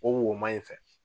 O woman in fɛ.